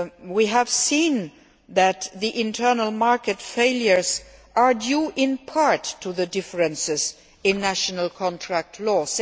We have seen that Internal Market failures are due, in part, to the differences in national contract